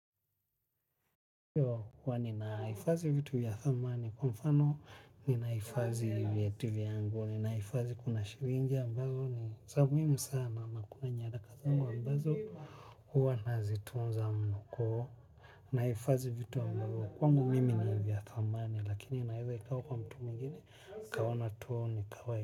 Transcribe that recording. Ndio kwani nahifadhi vitu vya thamani, kwa mfano ninahifadhi viatu yangu, ninahifadhi kuna shilingi ambazo ni za muhimu sana na kuna nyaraka zangu ambazo huwa nazitunza mnoko, nahifadhi vitu ambavyo kwangu mimi ni vya thamani lakini inaeza ikawa kwa mtu mwingine, akaona tu ni kawaida.